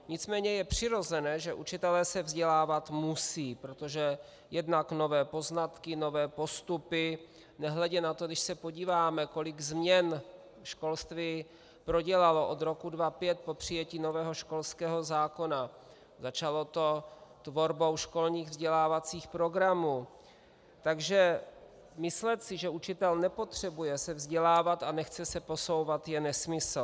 Nicméně je přirozené, že učitelé se vzdělávat musí, protože jednak nové poznatky, nové postupy, nehledě na to, když se podíváme, kolik změn školství prodělalo od roku 2005 po přijetí nového školského zákona, začalo to tvorbou školních vzdělávacích programů, takže myslet si, že učitel nepotřebuje se vzdělávat a nechce se posouvat, je nesmysl.